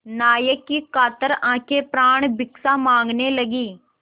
नायक की कातर आँखें प्राणभिक्षा माँगने लगीं